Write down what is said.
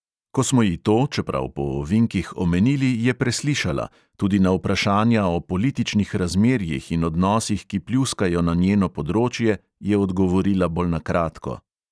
Ko smo ji to, čeprav po ovinkih, omenili, je preslišala, tudi na vprašanja o političnih razmerjih in odnosih, ki pljuskajo na njeno področje, je odgovorila bolj na kratko.